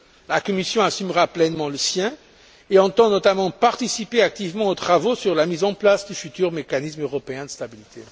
La Commission assumera pleinement le sien et entend notamment participer activement aux travaux sur la mise en place du futur mécanisme européen de stabilité.